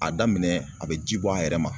A daminɛ a bɛ ji bɔ a yɛrɛ ma.